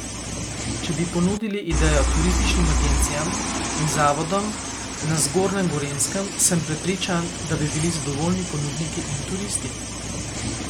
Če bi ponudili idejo turističnim agencijam in zavodom na Zgornjem Gorenjskem, sem prepričan, da bi bili zadovoljni ponudniki in turisti.